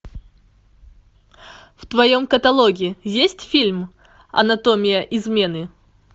в твоем каталоге есть фильм анатомия измены